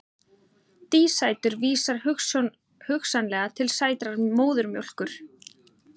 Dísætur vísar hugsanlega til sætrar móðurmjólkur.